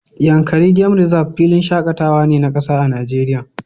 Yankari game Reserve filin shakatawa ne na kasa a Najeriya